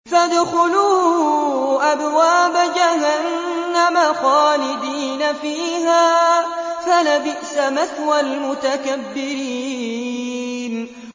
فَادْخُلُوا أَبْوَابَ جَهَنَّمَ خَالِدِينَ فِيهَا ۖ فَلَبِئْسَ مَثْوَى الْمُتَكَبِّرِينَ